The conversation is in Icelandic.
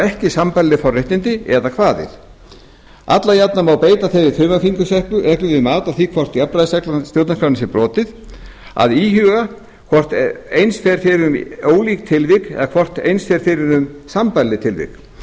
ekki sambærileg forréttindi eða kvaðir alla jafna má beita þeirri þumalfingursreglu við mat á því hvort jafnræðisregla stjórnarskrárinnar sé brotin að íhuga hvort eins fer um ólík tilvik eða hvort eins fer um sambærileg tilvik